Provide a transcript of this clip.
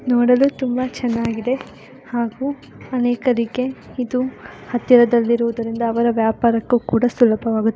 ನೋಡಲು ತುಂಬಾ ಚೆನ್ನಾಗಿದೆ ಹಾಗೂ ಅನೇಕರಿಗೆ ಇದು ಹತ್ತಿರದಲ್ಲಿರುವುದರಿಂದ ಅವರ ವ್ಯಾಪಾರಕ್ಕೂ ಕೂಡ ಸುಲಭವಾಗುತ್ತದೆ.